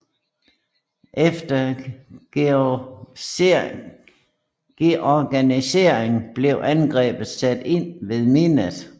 Efter reorganisering blev angrebet sat ind ved midnat